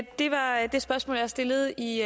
i